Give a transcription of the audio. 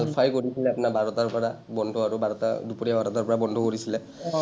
আলফাই কৈ দিছিলে আপোনাৰ বাৰটাৰ পৰা বন্ধ আৰু বাৰটা, দুপৰীয়া বাৰটাৰ পৰা বন্ধ কৰিছিলে।